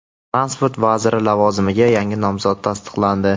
Transport vaziri lavozimiga yangi nomzod tasdiqlandi.